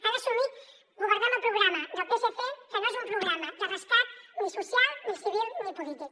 han assumit governar amb el programa del psc que no és un programa de rescat ni social ni civil ni polític